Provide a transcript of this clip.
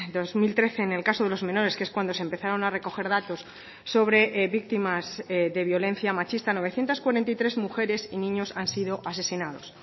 dos mil trece en el caso de los menores que es cuando se empezaron a recoger datos sobre víctimas de violencia machista novecientos cuarenta y tres mujeres y niños han sido asesinados